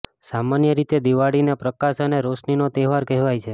સામાન્ય રીતે દિવાળીને પ્રકાશ અને રોશનીનો તહેવાર કહેવાય છે